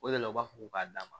O de la u b'a fɔ ko k'a d'a ma